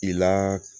I la